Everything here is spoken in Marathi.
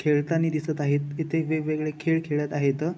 खेळतानी दिसत आहेत इथे वेगवेगळे खेळ खेळत आहेत.